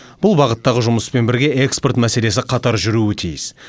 бұл бағыттағы жұмыспен бірге экспорт мәселесі қатар жүруі тиіс